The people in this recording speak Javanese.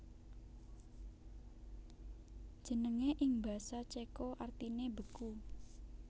Jenengé ing basa Céko artiné beku